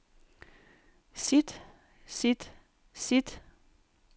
sit sit sit